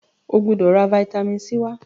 o gbódò rà vitamin c wá!